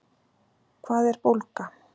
Hvað er bólga?